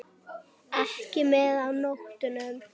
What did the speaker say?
Ekki með á nótunum.